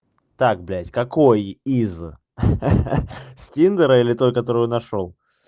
так блядь какой из ха-ха с тиндера или той которую нашёл